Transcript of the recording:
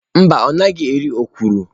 Mba ọ naghị eri okwụrụ.